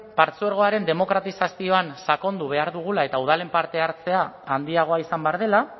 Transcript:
partzuergoaren demokratizazioan sakondu behar dugula eta udalen parte hartzea handiagoa izan behar dela